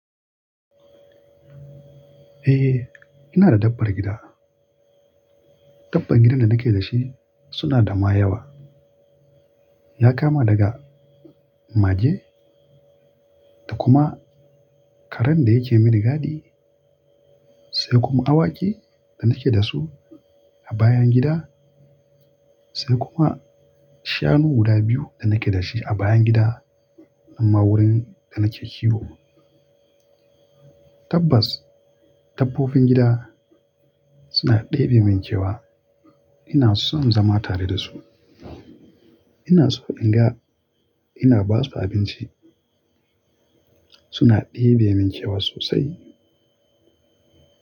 Eh, ina da dabbar gida. Dabban gidan da nake da shi suna da ma yawa. Ya kama daga mage, da kuma karen da yake mini gadi, sai kuma awaki da nake da su a bayan gida, sai kuma shanu guda biyu da nake da shi a bayan gida, amma wurin da nake kiwo. Tabbas, dabbobin gida suna ɗebe min kewa. Ina son zama tare da su. Ina so in ga ina basu abinci. Suna ɗebe min kewa sosai.